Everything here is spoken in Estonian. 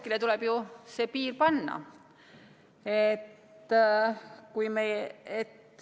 Kusagile tuleb ju see piir panna.